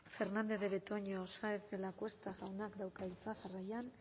fernandez de betoño saenz de lacuesta jaunak dauka hitza jarraian